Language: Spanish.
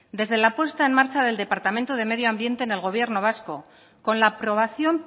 desde la puesta en marcha del departamento de medio ambiente en el gobierno vasco con la aprobación